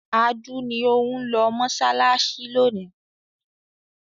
Adu ni ó ń lọ mọṣáláṣí lónìí.